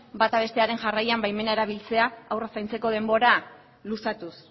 bata bestearen jarraian baimena erabiltzea haurra zaintzeko denbora luzatuz